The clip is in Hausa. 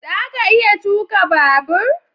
Za ka iya tuka babur?